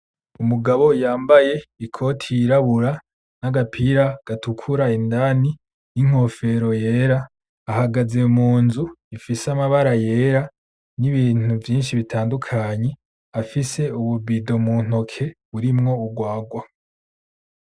Umugabo yambaye ikoti yirabura n,agapira gatukura indani n'inkofero yera ahagaze munzu ifise amabara yera nibintu vyinshi bitandukanye afise ububido muntoke burimwo urwarwa .